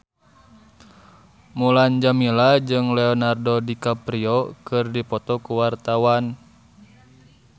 Mulan Jameela jeung Leonardo DiCaprio keur dipoto ku wartawan